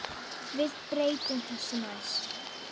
Við breytum þessu næst.